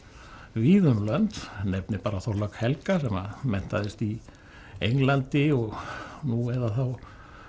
víða um lönd nefni bara Þorlák helga sem menntaðist í Englandi nú eða þá